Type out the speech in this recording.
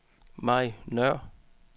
Mai Nøhr